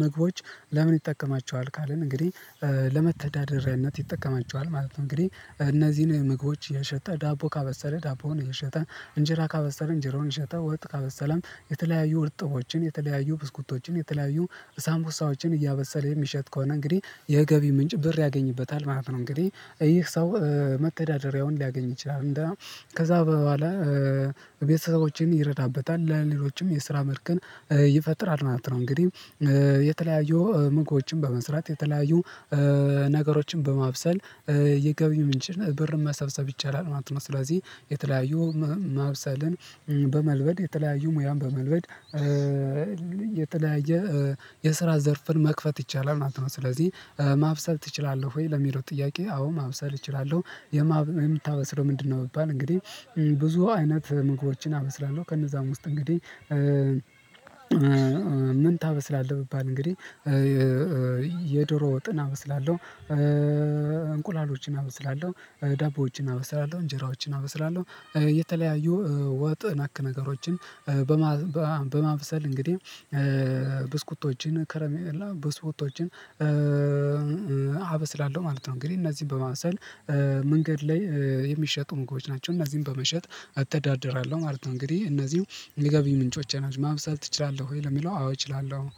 ምግቦች ለምን ይጠቀማቸዋል ካልን እንግዲህ ለመተዳደሪያነት ይጠቀማቸዋል ማለት ነው። እንግዲህ እነዚህን ምግቦች እየሸጠ ዳቦ ካበሰለ ዳቦውን እየሸጠ እንጀራ ካበሰለ እንጀራውን እየሸጠ ወጥ ካበሰለም የተለያዩ እርጥቦችን የተለያዩ ብስኩቶችን የተለያዩ ሳምኩሳዎችን እያበሰለ የሚሸጥ ከሆነ እንግዲህ የገቢ ምንጭ ያገኝበታል ማለት ነው። እንግዲህ ይህ ሰው መተዳደሪያውን ሊያገኝ ይችላል እንደ ከዛ በኋላ ቤተሰቦችን ይረዳበታል ለሌሎችም የስራም እርከን ይፈጥራል ማለት ነው። እንግዲህ ምክዎችን በመዝራት የተለያዩ ነገሮችን በማብሰል የገቢ ምንጭ ብር መሰብሰብ ይቻላል ማለት ነው። ስለዚህ የተለያዩ ማብሰልን በመልመድ የተለያዩ ሙያን በመልመድ የተለያየ የስራ ዘርፍን መክፈት ይቻላል ማለት ነው። ስለዚህ ማብሰል ትችላለህ ወይ? ለሚለው ጥያቄ አዎ ማብሰል እችላለሁ የምታበስለው ምንድነው? ቢባል እንግዲህ ብዙ አይነት ምግቦችን አበስላለሁ ከነዛም ውስጥ እንግዲህ ምን ታበስላለህ ብባል እንግዲህ የዶሮ ወጥን አበስላለሁ። እንቁላሎችን አበስላለሁ ዳቦዎችን አበስላለሁ እንጀራዎችን አበስላለሁ የተለያዩ ወጥ ነክ ነገሮችን በማብሰል እንግዲህ ብስኩቶችን ከረሜላ ብስኩቶችን አበስላለሁ ስላለው ማለት ነው። እንግዲህ እነዚህን በማብሰል መንገድ ላይ የሚሸጡ ምግቦች ናቸው እነዚህን በመሸጥ እተዳደራለሁ ማለት ነው። እንግዲህ እነዚህው የገቢ ምንጮቼ ናቸው። ማብሰል ትችላለህ ወይ? ለሚለው አዎ እችላለሁ